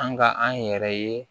An ka an yɛrɛ ye